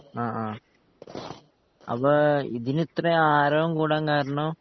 ആ ആ അപ്പൊ ഇതിന് ഇത്രേം ആരവം കൂടാൻ കാരണം